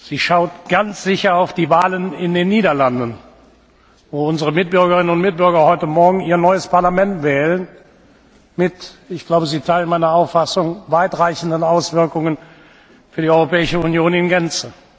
Sie schaut ganz sicher auf die Wahlen in den Niederlanden, wo unsere Mitbürgerinnen und Mitbürger heute Morgen ihr neues Parlament wählen mit ich glaube, Sie teilen meine Auffassung weit reichenden Auswirkungen für die Europäische Union in Gänze.